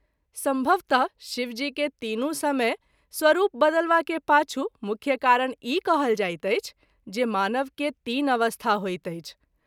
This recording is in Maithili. संभवतः शिव जी के तीनू समय स्वरूप बदलबा के पाछू मुख्य कारण ई कहल जाइत अछि जे मानव के तीन अवस्था होइत अछि।